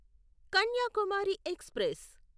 Kanyakumari express